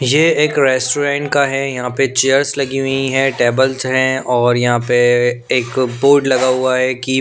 ये एक रेस्टोरेंट का है यहाँ पे चेयर्स लगी हुई है टेबल्स हैं और यहाँ पे एक बोर्ड लगा हुआ है कि--